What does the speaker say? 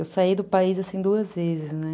Eu saí do país, assim, duas vezes, né?